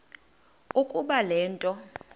ukuba le nto